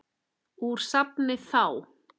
Úr safni ÞÁ.